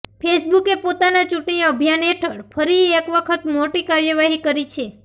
ફેસબુકે પોતાના ચૂંટણી અભિયાન હેઠળ ફરી એક વખત મોટી કાર્યવાહી કરી છે